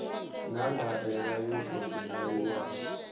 na ndaela yo tou ṅwaliwaho